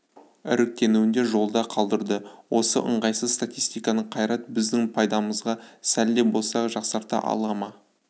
іріктеуінде жолда қалдырды осы ыңғайсыз статистиканы қайрат біздің пайдамызға сәл де болса жақсарта ала ма